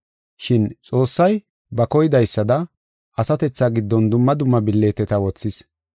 Shin Xoossay ba koydaysada, asatethaa giddon dumma dumma billiteta wothis.